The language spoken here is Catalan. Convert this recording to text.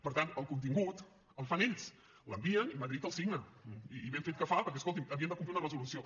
per tant el contingut el fan ells l’envien i madrid el signa i ben fet que fa perquè escolti’m havien de complir una resolució